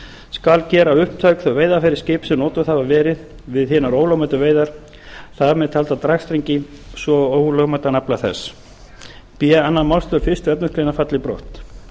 skal gera upptæk þau veiðarfæri skips sem notuð hafa verið við hinar ólögmætu veiðar þar með talda dragstrengi svo og ólögmætan afla þess b önnur málsl fyrstu efnismgr falli brott